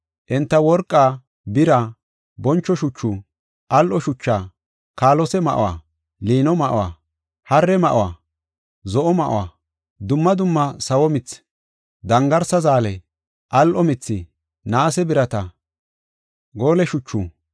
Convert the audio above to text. Enta worqa, bira, boncho shuchu, al7o shucha, kaalose ma7o, liino ma7o, haare ma7o, zo7o ma7o, dumma dumma sawo mithi, dangarsa zaale, al7o mithi, naase birata, goole shuchu,